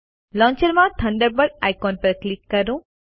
launcher માં Thunderbird icon પર click કરો